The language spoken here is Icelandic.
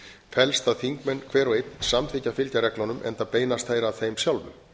felst að þingmenn hver og einn samþykkja að fylgja reglunum enda beinast þær að þeim sjálfum